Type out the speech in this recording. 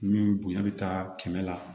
Ni bonya bɛ taa kɛmɛ la